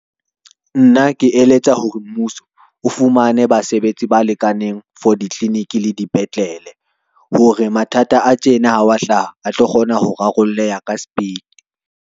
Nna ke eletsa hore mmuso o fumane basebetsi ba lekaneng for ditliliniki le dipetlele, hore mathata a tjena ha wa hlaha a tlo kgona ho rarolleha ka sepiti.